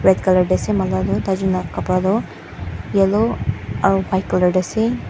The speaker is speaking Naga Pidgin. red colour dae asae manu khan toh tai Jun laga kapara toh yellow aro white colour dae asae.